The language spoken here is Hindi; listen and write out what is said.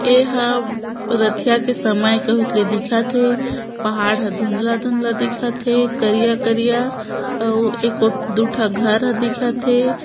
एहा रतिहा के समय कहूँक ले दिखत हे पहाड़ ह धुंधला धुंधला दिखत हे करिया करिया अऊ एको दु ठ घर ह दिखत हे।